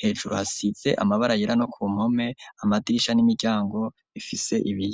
hejuru hasize amabara yera no ku mpome amadirisha n'imiryango ifise ibiyo.